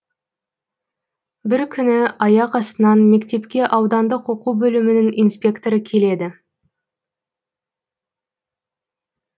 бір күні аяқ астынан мектепке аудандық оқу бөлімінің инспекторы келеді